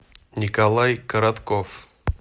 николай коротков